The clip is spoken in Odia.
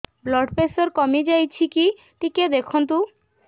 ବ୍ଲଡ଼ ପ୍ରେସର କମି ଯାଉଛି କି ଟିକେ ଦେଖନ୍ତୁ